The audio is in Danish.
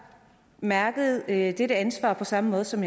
mærkede dette ansvar på samme måde som